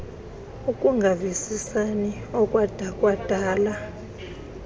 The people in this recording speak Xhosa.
ukungavisisani okwada kwadala